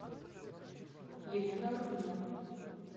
елена руднева